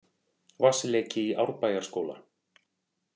Vatnsleki í Árbæjarskóla